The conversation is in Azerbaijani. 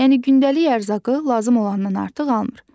Yəni gündəlik ərzaqı lazım olandan artıq almır.